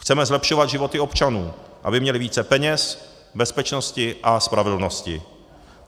Chceme zlepšovat životy občanů, aby měli více peněz, bezpečnosti a spravedlnosti.